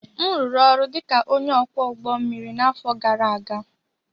m rụrụ ọrụ dị ka onye ọkwọ ụgbọ mmiri n'afọ gara aga